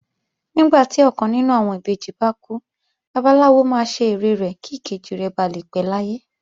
Nígbà tí ọkàn nínú àwọn ìbejì bá kú, Babaláwo máa ṣe ère rẹ̀ kí ìkejì rẹ̀ ba lè pé láyé